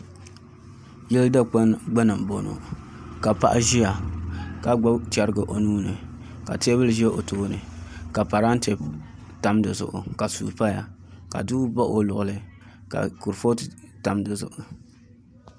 Yili dikpuni gbuni n boŋo ka paɣa ʒiya ka gbubi chɛrigi o nuuni ka teebuli ʒɛ o tooni ka parantɛ tam dizuɣu ka suu paya ka duɣu baɣa o luɣuli ka kurifooti tam dizuɣu